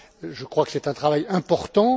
Je crois que c'est un travail important.